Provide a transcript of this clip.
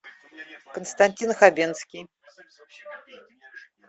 константин хабенский